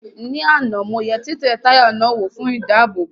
Ní àná mo yẹ títẹ táyà náà wò fún ìdáàbòbò